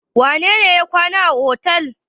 Wane ne ya kwana a otel?